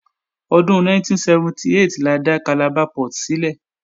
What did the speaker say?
Ọdún 1978 la dá Calabar Port sílẹ̀